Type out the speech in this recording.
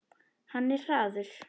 Hann er hraður.